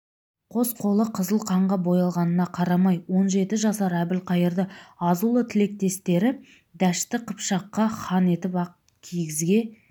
қос қолы қызыл қанға боялғанына қарамай он жеті жасар әбілқайырды азулы тілектестері дәшті қыпшаққа хан етіп ақ кигізге